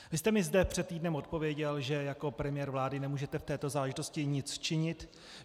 Vy jste mi zde před týdnem odpověděl, že jako premiér vlády nemůžete v této záležitosti nic činit.